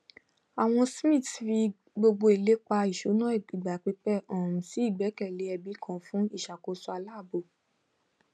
àwọn smiths fi gbogbo ilépa ìṣúná ìgbà pípẹ um si ìgbẹkẹlé ẹbí kan fún ìṣàkóso aláàbò